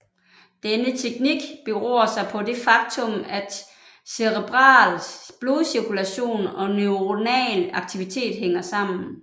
Denne teknik beror sig på det faktum at cerebral blodcirkulation og neuronal aktivitet hænger sammen